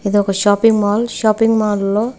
ఇదొక shopping mall shopping mall లో--